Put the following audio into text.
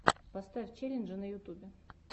поставь челленджи на ютюбе